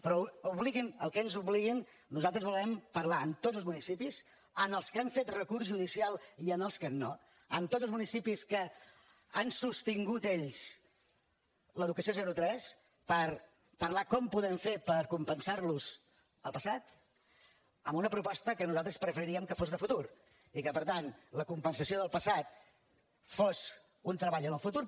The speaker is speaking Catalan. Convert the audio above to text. però obliguin al que ens obliguin nosaltres volem parlar amb tots els municipis amb els que han fet recurs judicial i amb els que no amb tots els municipis que han sostingut ells l’educació zero tres per parlar com podem fer per compensar los el passat amb una proposta que nosaltres preferiríem que fos de futur i que per tant la compensació del passat fos un treball en el futur